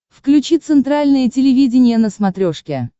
включи центральное телевидение на смотрешке